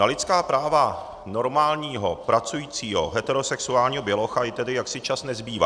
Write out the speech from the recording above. Na lidská práva normálního pracujícího heterosexuálního bělocha jí tedy jaksi čas nezbývá.